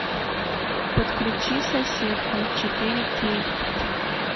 подключи соседка четыре кей